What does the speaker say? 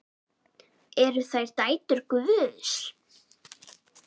Eru þær dætur Guðs?